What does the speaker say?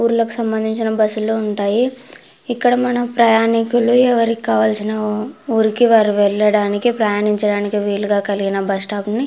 ఊర్లకు సంబందించిన బస్సులు ఉంటాయి. ఇక్కడ మన ప్రయాణికులు ఎవరికి కావాల్సిన వాళ్ళ ఉరికి వాళ్ళు వెళ్ళడానికి ప్రయాణించడానికి వీలుగా కావాల్సిన బస్సు స్టాప్ ని --